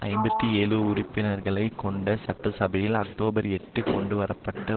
ஐம்பத்தி ஏழு உறுப்பினர்களை கொண்ட சட்டசபையில் அக்டோபர் எட்டு கொண்டுவர பட்ட